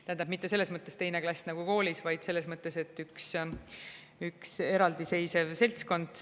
Tähendab, mitte selles mõttes teine klass nagu koolis, vaid selles mõttes, et üks eraldiseisev seltskond.